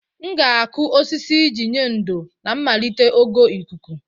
M ga-akụ osisi iji nye ndò ma melite ogo ikuku.